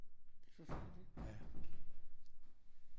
Det er forfærdeligt